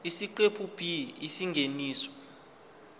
isiqephu b isingeniso